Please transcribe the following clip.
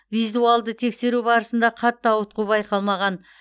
визуалды тексеру барысында қатты ауытқу байқалмаған